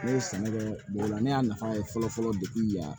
Ne ye sɛnɛ kɛ bolila ne y'a nafa ye fɔlɔ fɔlɔ yan